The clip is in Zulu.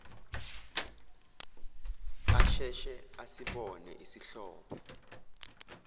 asheshe asibone isihlobo